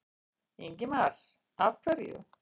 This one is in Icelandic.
Ingimar: Af hverju?